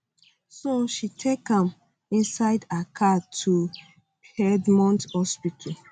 so she take am inside her car to piedmont hospital